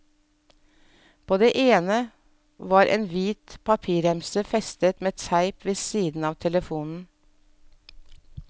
På det ene var en hvit papirremse festet med teip ved siden av telefonen.